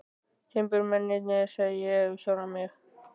Timburmennirnir, sagði ég við sjálfan mig.